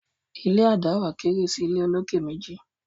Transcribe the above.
ilé a dáwà kéré sí ìlé olokè méjì